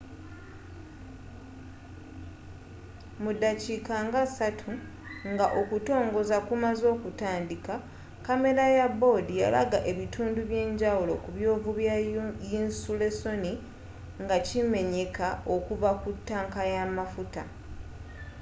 mudaakika nga 3 nga okutongoza kumaze okutandika kamera ya board yalaga ebitundu eby'enjawulo ku byovu bya yinsulesoni nga kimenyeka okuva ku tanka y'amafuta